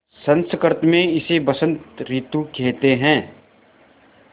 संस्कृत मे इसे बसंत रितु केहेते है